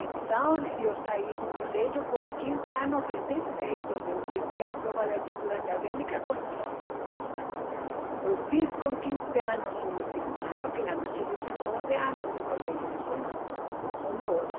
Então, eu saí do colégio com quine anos recém-feitos, eu prestei a prova de atitude acadêmica com, não, eu fiz com quinze anos o último ano, que lá no Chile são doze anos de colégio, não são onze, são doze.